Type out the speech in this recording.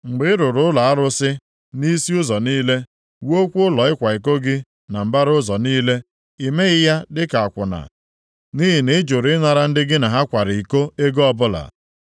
Mgbe ị rụrụ ụlọ arụsị nʼisi ụzọ niile, wuokwa ụlọ ịkwa iko gị na mbara ụzọ niile, i meghị ya dịka akwụna, nʼihi na ị jụrụ ịnara ndị gị na ha kwara iko ego ọbụla.